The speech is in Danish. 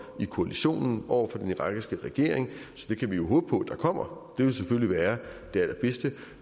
i koalitionen over for den irakiske regering så det kan vi håbe på der kommer det ville selvfølgelig være det allerbedste